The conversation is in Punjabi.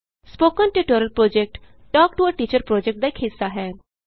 spoken tutorial project talk to a teacher ਪੋ੍ਜੈਕਟਦਾ ਇਕ ਹਿੱਸਾ ਹੈ